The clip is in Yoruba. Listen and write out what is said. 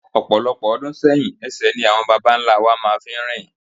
Ọ̀pọ̀lọpọ̀ ọdún sẹ́yìn ẹsẹ̀ ni àwọn babá ńlá wa máa fi ń rìn.